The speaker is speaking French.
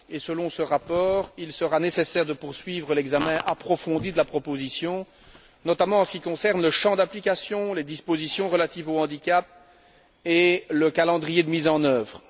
Selon ce rapport, il sera nécessaire de poursuivre l'examen approfondi de la proposition, notamment en ce qui concerne le champ d'application, les dispositions relatives au handicap et le calendrier de mise en œuvre.